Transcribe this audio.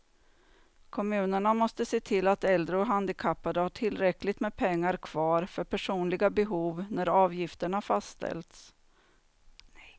Kommunerna måste se till att äldre och handikappade har tillräckligt med pengar kvar för personliga behov när avgifterna fastställs.